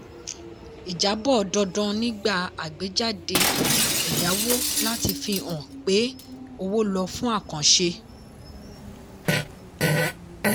ìjábọ̀ dandan nígbà àgbéjáde ẹ̀yáwó láti fi hàn pé owó ló fún àkànṣe.